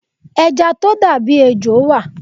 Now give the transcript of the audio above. Ẹja tó dà bí ejò wà.